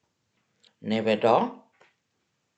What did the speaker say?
Ne vedo?